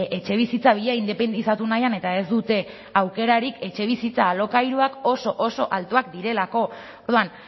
etxebizitza bila independizatu nahian eta ez dute aukerarik etxebizitza alokairuak oso oso altuak direlako orduan